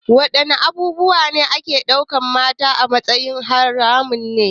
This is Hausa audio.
Wadanne abubuwa ne ake daukar mata a matsayin haramun?